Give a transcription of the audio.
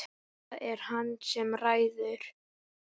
Það er hann sem ræður.